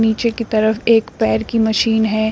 पीछे की तरफ एक पैर की मशीन है।